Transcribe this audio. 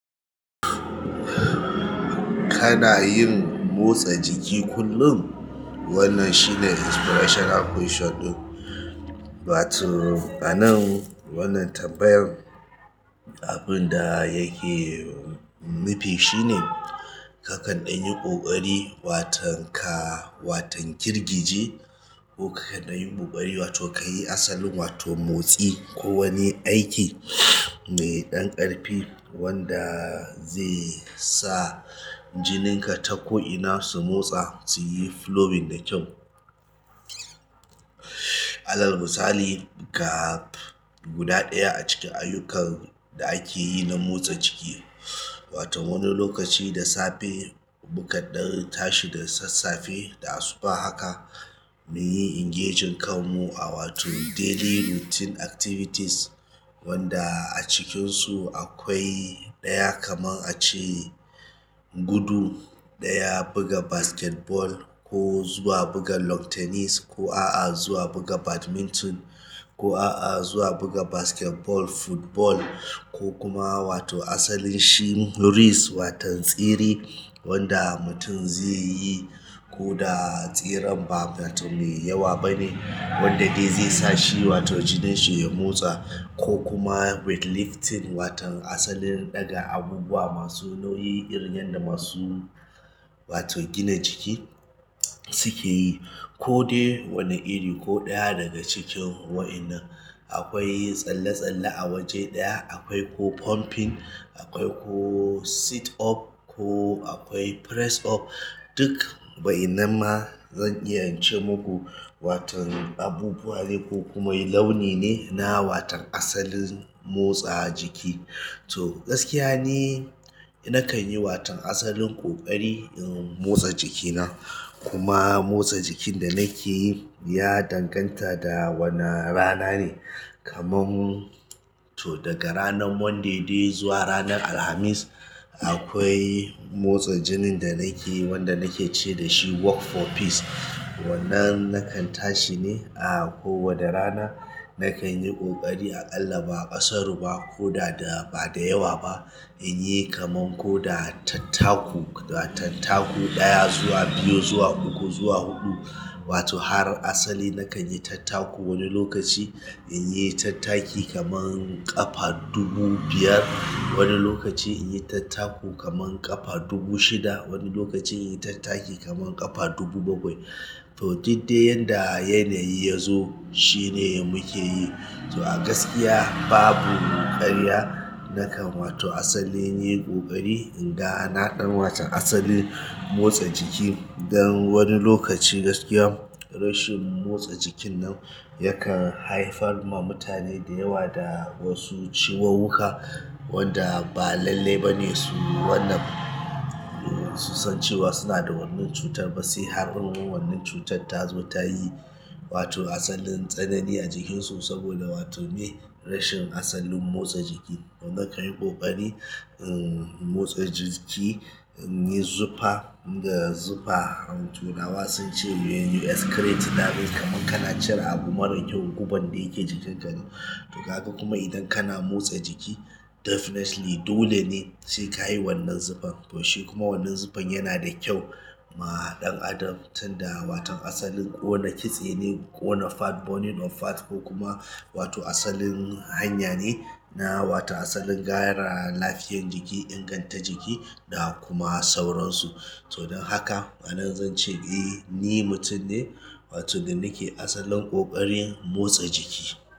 Kana yin motsa jiki kullum? Wannan shine inspirational question ɗin. Wato, a nan wannan tambayar abun da yake nu fi shine. Kakan ɗan yi ƙoƙari watan ka watan girgije. Ko kakan ɗan yi ƙoƙari wato ka yi asalin wato motsi ko wani aiki mai ɗan ƙarfi wanda zai sa jininka ta ko'ina su motsa, su yi flowing da kyau. Alar misali, ga guda ɗaya a cikin ayyukan da ake yi na motsa jiki wato wani lokaci da safe mu kaɗan tashi da sassafe da asuba haka mu yi engaging kanmu a wato daily routine activities wanda a cikinsu akwai ɗaya kaman a ce gudu, ɗaya buga basketball ko zuwa buga lawn tennis ko a'a zuwa buga badminton ko a'a zuwa buga basketball, football ko kuma wato asalin shi race watan tsere wanda mutum zai yi ko da tseren ba wato mai yawa bane wanda dai zai sa shi wato jinin shi ya motsa ko kuma weightlifting watan asalin ɗaga abubuwa masu nauyi irin yanda masu wato gina jiki suke yi ko dai wane iri ko ɗaya daga cikin wa'innan. Akwai tsalle-tsalle a waje ɗaya, akwai ko pumping, akwai ko sit up ko akwai press up. Duk wa'innan ma zan iya in ce maku watan abubuwa ne ko kuma launi ne na watan asalin motsa jiki. To gaskiya ni nakan yi watan asalin ƙoƙari in motsa jikina kuma motsa jikin da nake yi ya danganta da wana rana ne. Kaman to daga ranar monday dai zuwa ranar Alhamis akwai motsa jinin da ni ke yi wanda na ke ce da shi walk for peace wannan nakan tashi ne a kowanne rana. Nakan yi ƙoƙari, aƙalla ba ƙasaru ba ko da ba da yawa ba. In yi kaman ko da tattaku, tattaku ɗaya zuwa biyu zuwa uku zuwa huɗu wato har asali nakan yi tattaku. Wani lokaci in yi tattaki kaman ƙafa dubu biyar, wani lokaci in yi tattaku kaman ƙafa dubu shida, wani lokacin in yi tattaki kaman ƙafa dubu bakwai. To duk dai yanda yanayi ya zo shine muke yi. To a gaskiya babu ƙarya nakan wato asali yin ƙoƙari in ga na dan watan asalin motsa jiki. Don wani lokaci gaskiya rashin motsa jikin nan yakan haifar ma mutane da yawa da wasu ciwuwuka wanda ba lalle ba ne su wannan su san cewa suna da wannan cutar ba sai har wannan cutar ta zo ta yi wato asalin tsanani a jikinsu saboda wato me rashin asalin motsa jiki. To nakan yi ƙoƙari in motsa jiki, in yi zufa. Inda zufa turawa sun ce you excrete kana jin kaman kana cire abu marar kyau guban da yake jikinka. To kaga kuma idan kana motsa jiki definitely dole ne sai ka yi wannan zufan. To shi kuma wannan zufan yana da kyau ma ɗan adam tunda watan asalin ƙona kitse ne ƙona fat burning or fat ko kuma wato asalin hanya ne na wata asalin gyara lafiyan jiki, inganta jiki da kuma sauransu. To don haka a nan zan ce eh ni mutum ne wato da nake asalin ƙoƙarin motsa jiki.